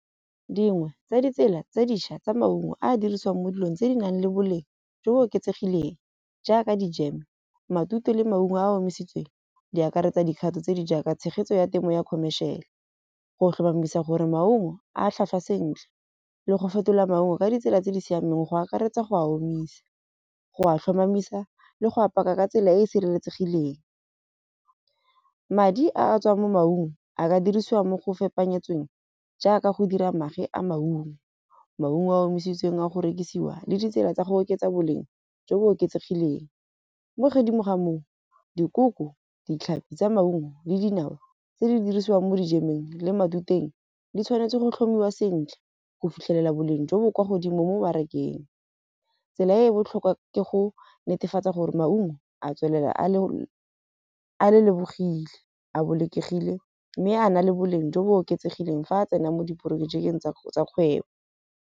Dingwe tsa ditsela tse dintšha tsa maungo a dirisiwang mo dilong tse di nang le boleng jo bo oketsegileng, jaaka di matute le maungo a a omisitsweng di akaretsa dikgato tse di jaaka tshegetso ya temo ya khomešiale. Go tlhomamisa gore maungo a tlhotlhwa sentle le go fetola maungo ka ditsela tse di siameng go akaretsa go a omisa. Go a tlhomamisa le go apaya ka tsela e e sireletsegileng. Madi a a tswang mo maungo a ka dirisiwa mo go fepanyetsweng jaaka go dira magwe a maungo. Maungo a a omisitsweng a go rekisiwa le ditsela tsa go oketsa boleng jo bo oketsegileng. Mo godimo ga moo dikoko, ditlhapi tsa maungo le dinawa tse di dirisiwang mo dijemeng le matuteng di tshwanetse go tlhomiwa sentle go fitlhelela boleng jo bo kwa godimo mo marekeng. Tsela e e botlhokwa ke go netefatsa gore maungo a tswelela a le, a le lebogile a bolokegile. Mme a na le boleng jo bo oketsegileng fa a tsena mo diprojekeng tsa kgwebo.